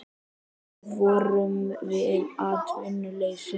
Við vöruðum við atvinnuleysi